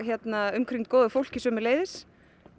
umkringd góðu fólki sömuleiðis